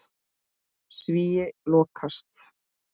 Svíi lokast.